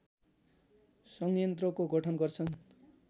संयन्त्रको गठन गर्दछ